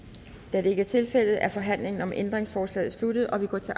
da det ikke er tilfældet er forhandlingen om ændringsforslaget slut og vi går til